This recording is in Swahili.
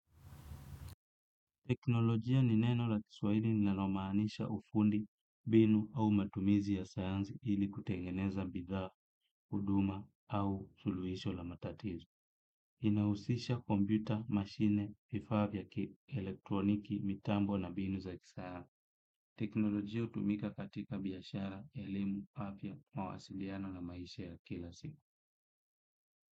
Teknolojia ni neno la kiswahili linalomaanisha ufundi, mbinu au matumizi ya sayansi ili kutengeneza bidhaa, huduma au suluhisho la matatizo. Inahusisha kompyuta, mashine, vifaa vya kielektroniki, mitambo na mbinu za kisa. Teknolojia hutumika katika biashara, elimu, afya, mawasiliano na maisha ya kila siku.